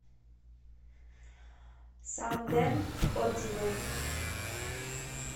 сан дент отзывы